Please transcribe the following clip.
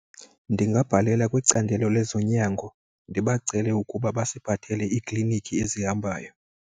Ndingabhalela kwicandelo lezonyango ndibacele ukuba basiphathele iiklinikhi ezihambayo.